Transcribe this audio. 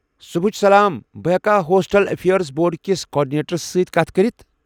صبحچ سلام، بہٕ ہٮ۪کا ہوسٹل افیرز بورڈٕ کس کارڈِنیٹرس سۭتۍ کتھ کٔرتھ؟